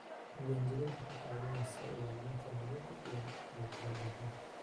Diiwaangelintu waxay ka caawisaa ilaalinta nabadda iyo kala dambaynta.